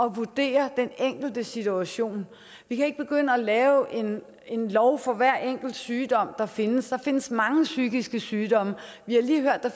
at vurdere den enkeltes situation vi kan ikke begynde at lave en lov for hver enkelt sygdom der findes der findes mange psykiske sygdomme vi har lige hørt at der